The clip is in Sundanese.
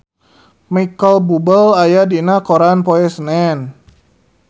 Micheal Bubble aya dina koran poe Senen